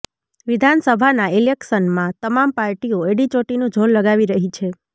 વિધાનસભાના ઈલેક્શનમાં તમામ પાર્ટીઓ એડીચોટીનું જોર લગાવી રહી છે